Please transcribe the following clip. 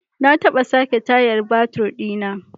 Na taba sake tayar babur di na.